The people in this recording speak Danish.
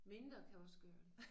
Mindre kan også gøre det